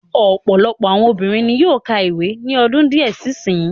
Ọ̀pọ̀lọpọ̀ àwọn obìnrin ni yóó ka ìwé ní ọdún díẹ̀ sí sin yìí.